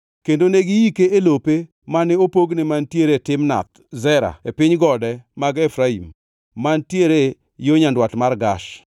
Kendo ne giike e lope mane opogne, mantiere Timnath Sera e piny gode mag Efraim, mantiere yo nyandwat mar Gash.